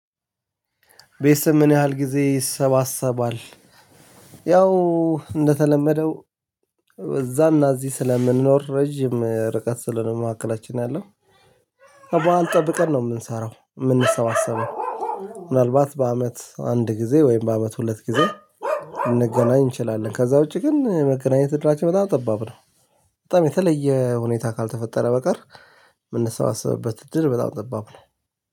ቤትሰብ ምን ያህል ጊዜ ይሰባሰባል? ያው እንደተለመደው እዛም እዚህ ስለምንኖር ረጅም ርቀት ስለሆነ መካከላችን አለን በዓል ጠብቀን ነው የምንሰራው የምንሰባሰበው ምናልባት በአመት አንድ ጊዜ ወይም በአመት ሁለት ጊዜ ልንገናኝ እንችላለን ከዛ ውጪ ግን መገናኘት እድላችን በጣም ጠባብ ነው በጣም የተለየ ሁኔታ ካልተፈጠረ በቀር ምንሰባሰብበት እድል በጣም ጠባብ ነው